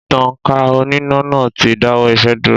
Ìtankà oníná náà ti dáwọ́ isẹ́ dúró.